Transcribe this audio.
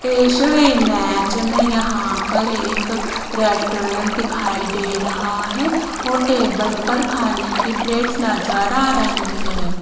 इस इमेज में यहां पर एक रेस्टोरेंट दिखाई दे रहा है और टेबल पर खाने की प्लेट्स नजर आ रही है।